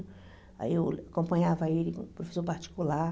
Aí eu acompanhava ele, professor particular.